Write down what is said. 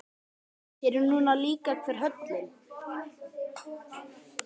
Sér er nú líka hver höllin.